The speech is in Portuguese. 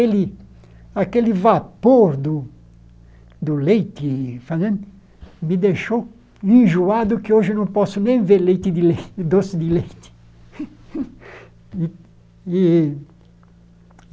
aquele vapor do do leite fazendo me deixou enjoado que hoje não posso nem ver leite de lei doce de leite.